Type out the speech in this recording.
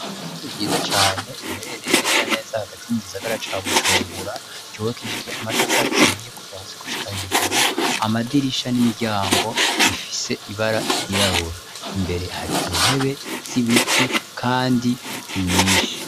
Ishure ryiza cane riherereye neza neza hagati mugisagara ca bujumbura cubakishije amatafari ahiye kuva hasi gukushika hejuru amadirisha n'imiryango rifise ibara ry'irabura imbere hari intebe z'ibiti kandi nyinshi.